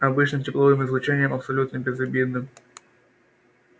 обычным тепловым излучением абсолютно безобидным